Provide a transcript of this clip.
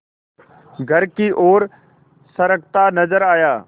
घर की ओर सरकता नजर आया